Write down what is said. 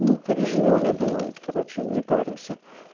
ну переживём я думаю короче не паримся